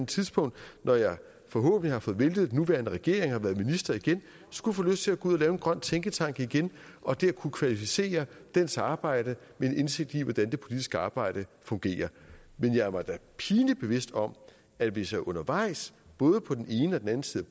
tidspunkt når jeg forhåbentlig har fået væltet den nuværende regering og været minister igen skulle få lyst til at gå ud og lave en grøn tænketank igen og dér kunne kvalificere dens arbejde med en indsigt i hvordan det politiske arbejde fungerer men jeg er mig da pinligt bevidst om at hvis jeg undervejs både på den ene og den anden side